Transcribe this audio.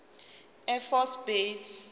air force base